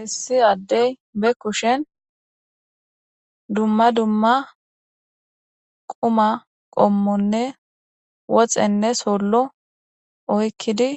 issi addey be kushen dumma dumma quma qommonne woxenne sollo oykkidi